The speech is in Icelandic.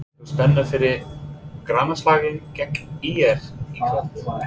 Er mikil spenna fyrir grannaslaginn gegn ÍR í kvöld?